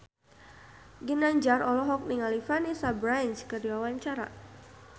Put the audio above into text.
Ginanjar olohok ningali Vanessa Branch keur diwawancara